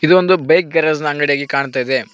ಇದು ಒಂದು bike garage ನ ಅಂಗಡಿಯಾಗಿ ಕಾಣ್ತಾ ಇದೆ.